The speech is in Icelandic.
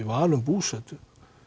val um búsetu